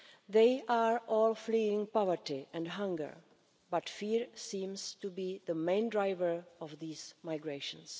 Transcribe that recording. They are all fleeing poverty and hunger, but fear seems to be the main driver of these migrations.